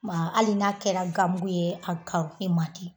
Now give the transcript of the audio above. Maa ali n'a kɛra gan mugu ye a karonen mandi